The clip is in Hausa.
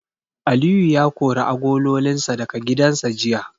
Aliyu ya kori agololinsa daga gidansa jiya.